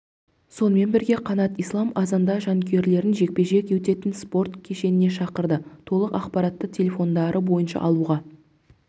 сонымен бірге қанат ислам қазанда жанкүйерлерін жекпе-жек өтетін спорт кешеніне шақырды толық ақпаратты телефондары бойынша алуға